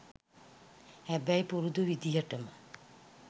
හැබැයි පුරුදු විදිහටම